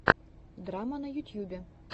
драмма на ютьюбе